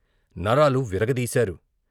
నరాలు విరగదీశారు.